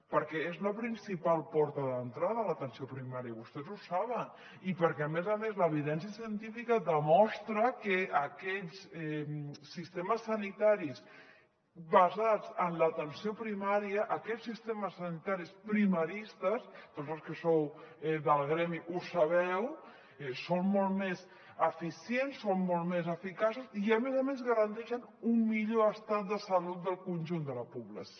perquè és la principal porta d’entrada l’atenció primària vostès ho saben i perquè a més a més l’evidència científica demostra que aquests sistemes sanitaris basats en l’atenció primària aquests sistemes sanitaris primaristes tots els que sou del gremi ho sabeu són molt més eficients són molt més eficaços i a més a més garanteixen un millor estat de salut del conjunt de la població